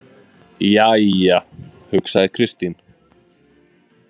Jæja, hugsaði Kristín.